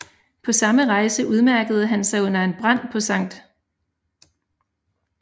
På samme rejse udmærkede han sig under en brand på St